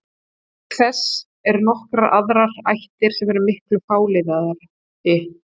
Auk þess eru nokkrar aðrar ættir sem eru miklu fáliðaðri.